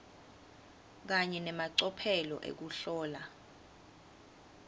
kanye nemacophelo ekuhlola